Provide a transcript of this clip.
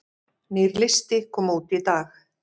Nýr listi kom út í dag